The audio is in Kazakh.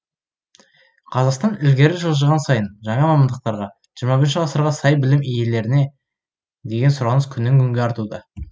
қазақстан ілгері жылжыған сайын жаңа мамандықтарға жиырма бірінші ғасырға сай білім иелеріне деген сұраныс күннен күнге артуда